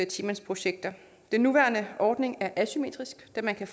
ti mandsprojekter den nuværende ordning er asymmetrisk da man kan